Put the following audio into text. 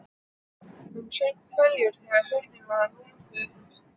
Hann saup hveljur þegar hurðinni var lokið upp.